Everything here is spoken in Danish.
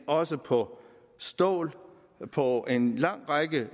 også på stål og på en lang række